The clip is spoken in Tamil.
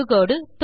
தொடுகோடு